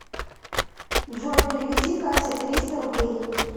джой переведи кате триста рублей